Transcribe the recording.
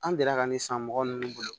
An delila ka ne san mɔgɔ minnu bolo